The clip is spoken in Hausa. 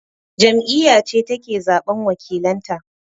Jam'iyya ce take zaɓan wakilanta